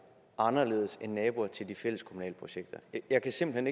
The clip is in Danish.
anderledes end naboer til de fælleskommunale projekter jeg kan simpelt